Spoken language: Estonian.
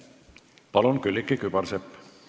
Palun, Külliki Kübarsepp!